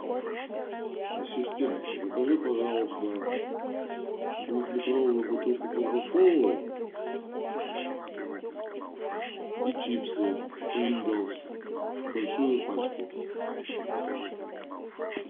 ассистент закажи пожалуйста двух литровую бутылку кока колы и чипсы принглс большую пачку